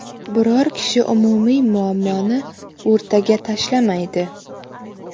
Biror kishi umumiy muammoni o‘rtaga tashlamaydi.